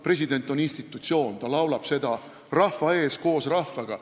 President on institutsioon – ta laulab hümni rahva ees ja koos rahvaga.